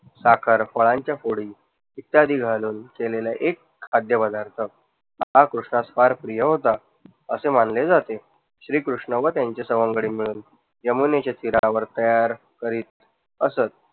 साखर, फळांच्या फोडी इत्यादी घालून केलेला एक खाद्यपदार्थ हा कृष्णास फार प्रिया होता असे मानले जाते. श्री कृष्ण व त्यांचे सवंगडी मिळून यमुनेच्या तीरावर तयार करीत असत.